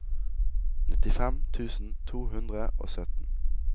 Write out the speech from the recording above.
nittifem tusen to hundre og sytten